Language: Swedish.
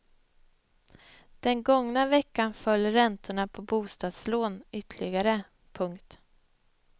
Den gångna veckan föll räntorna på bostadslån ytterligare. punkt